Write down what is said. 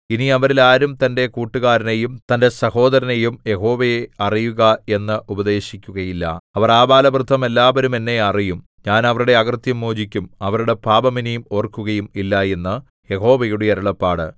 ഇനി അവരിൽ ആരും തന്റെ കൂട്ടുകാരനെയും തന്റെ സഹോദരനെയും യഹോവയെ അറിയുക എന്ന് ഉപദേശിക്കുകയില്ല അവർ ആബാലവൃദ്ധം എല്ലാവരും എന്നെ അറിയും ഞാൻ അവരുടെ അകൃത്യം മോചിക്കും അവരുടെ പാപം ഇനി ഓർക്കുകയും ഇല്ല എന്ന് യഹോവയുടെ അരുളപ്പാട്